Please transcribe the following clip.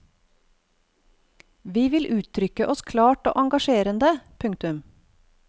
Vi vil uttrykke oss klart og engasjerende. punktum